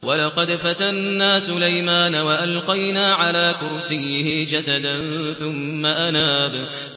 وَلَقَدْ فَتَنَّا سُلَيْمَانَ وَأَلْقَيْنَا عَلَىٰ كُرْسِيِّهِ جَسَدًا ثُمَّ أَنَابَ